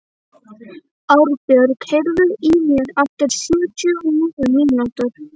Árbjörg, heyrðu í mér eftir sjötíu og níu mínútur.